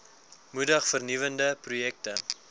moedig vernuwende projekte